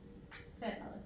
33